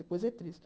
Depois é triste.